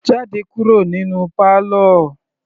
Jáde kúrò nínú parlour.